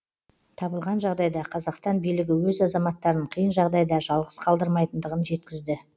табылған жағдайда қазақстан билігі өз азаматтарын қиын жағдайда жалғыз қалдырмайтындығын жеткізді